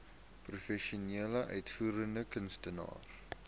professionele uitvoerende kunstenaars